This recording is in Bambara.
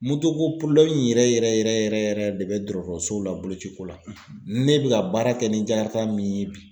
Moto ko yɛrɛ yɛrɛ yɛrɛ de bɛ dɔgɔtɔrɔsow la boloci ko la, ne bɛ ka baara kɛ ni min ye bi.